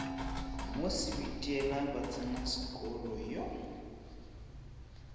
mo sebitiela ba tsenasekolo yo